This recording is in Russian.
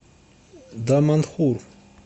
даманхур